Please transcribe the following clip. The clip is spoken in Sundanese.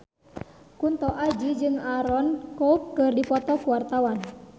Kunto Aji jeung Aaron Kwok keur dipoto ku wartawan